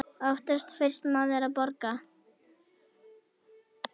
Oftast fyrsti maður að borga.